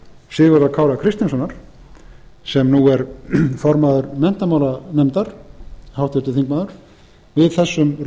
sigurðar kára kristinssonar sem nú er formaður menntamálanefndar háttvirtur þingmaður við þessum